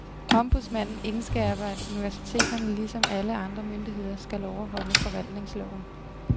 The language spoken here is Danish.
Ombudsmanden indskærper, at universiteterne ligesom alle andre myndigheder skal overholde forvaltningsloven.